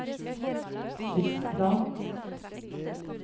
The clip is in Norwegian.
tidsplan